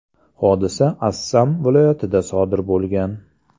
Hodisa Assam viloyatida sodir bo‘lgan.